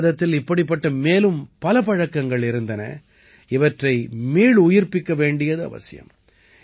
பாரதத்தில் இப்படிப்பட்ட மேலும் பல பழக்கங்கள் இருந்தன இவற்றை மீளுயிர்ப்பிக்க வேண்டியது அவசியம்